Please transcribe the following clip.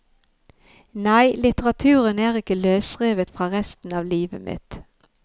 Nei, litteraturen er ikke løsrevet fra resten av livet mitt.